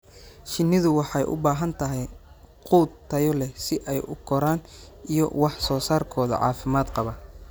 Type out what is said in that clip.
Shinnidu waxay u baahan tahay quud tayo leh si ay u koraan iyo wax soo saarkooda caafimaad qaba.